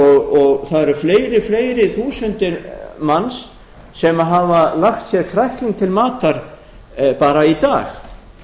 og það eru fleiri fleiri þúsundir manns sem hafa lagt sér krækling til matar bara í dag